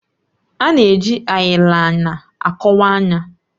A na-eji ayilaina akọwa anya.